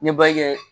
N ye kɛ